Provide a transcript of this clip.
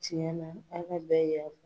Cɛna ala bɛ yan